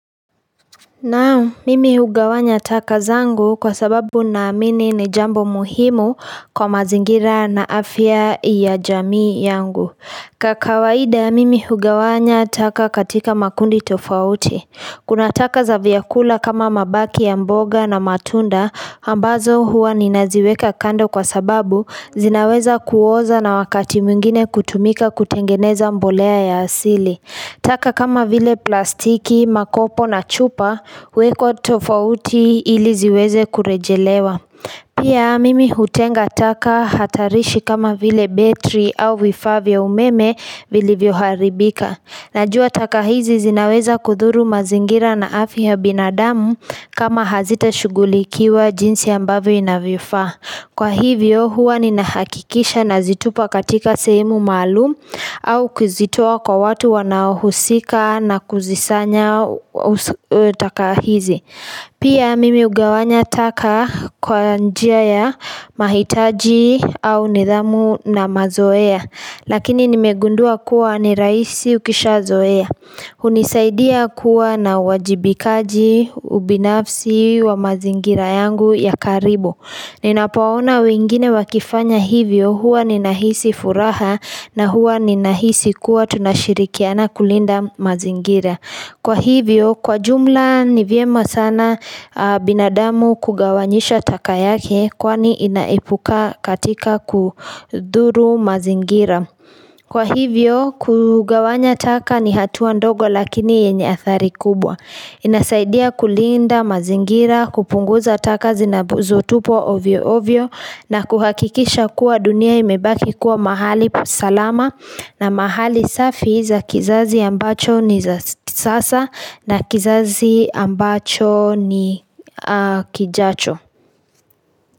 Naam, mimi hugawanya taka zangu kwa sababu naamini ni jambo muhimu kwa mazingira na afya ya jamii yangu ka kawaida mimi hugawanya taka katika makundi tofauti Kuna taka za vyakula kama mabaki ya mboga na matunda ambazo huwa ninaziweka kando kwa sababu zinaweza kuoza na wakati mwingine kutumika kutengeneza mbolea ya asili taka kama vile plastiki, makopo na chupa, huwekwa tofauti ili ziweze kurejelewa. Pia mimi hutenga taka hatarishi kama vile betri au vifaa vya umeme vilivyoharibika. Najua taka hizi zinaweza kudhuru mazingira na afya ya binadamu kama hazitashugulikiwa jinsi ambavyo inavifaa. Kwa hivyo huwa ninahakikisha nazitupa katika sehemu maalum au kuzitoa kwa watu wanahusika na kuzisanya taka hizi Pia mimi hugawanya taka kwa njia ya mahitaji au nidhamu na mazoea Lakini nimegundua kuwa ni rahisi ukishazoea hunisaidia kuwa na wajibikaji ubinafsi wa mazingira yangu ya karibu Ninapoona wengine wakifanya hivyo huwa ninahisi furaha na huwa ninahisi kuwa tunashirikiana kulinda mazingira Kwa hivyo kwa jumla ni vyema sana binadamu kugawanyisha taka yake kwani inaepuka katika kudhuru mazingira Kwa hivyo kugawanya taka ni hatua ndogo lakini yenye athari kubwa inasaidia kulinda mazingira kupunguza taka zinazotupwa ovyo ovyo na kuhakikisha kuwa dunia imebaki kuwa mahali salama na mahali safi za kizazi ambacho ni za sasa na kizazi ambacho ni kijacho.